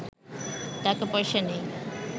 টাকা পয়সা নেই